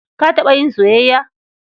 Ka taɓa yin soyayya?